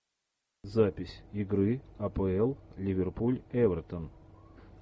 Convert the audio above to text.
запись игры апл ливерпуль эвертон